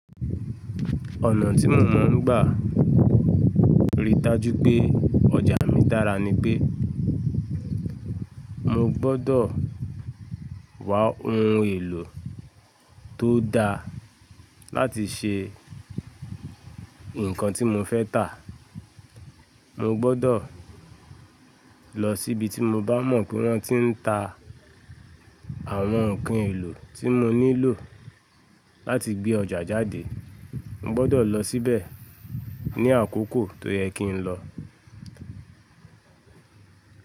Ọ̀nà tí mò mọ̀ n gbà rìí dájú pé ọjà mí dára ni pé mo gbọ́dọ̀ wá ohun èlò tó da láti ṣe ǹkan tí mo fẹ́ tà. Mo gbọ́dọ̀ lọ síbi tí mo bá mọ̀ pé wọ́n ti ń ta àwọn ǹkan èlò tí mo nílò láti gbé ọjà jáde. Mo gbọ́dọ̀ lọ síbẹ̀ ní àkókò tó yẹ kí n lọ.